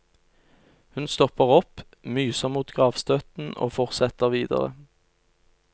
Hun stopper opp, myser mot gravstøtten og fortsetter videre.